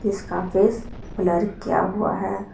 इसका face blur किया गया है।